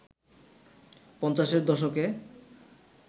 পঞ্চাশের দশকে